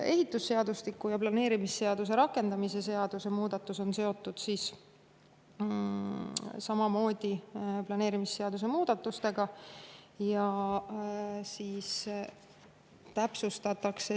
Ehitusseadustiku ja planeerimisseaduse rakendamise seaduse muudatus on samamoodi seotud planeerimisseaduse muudatustega.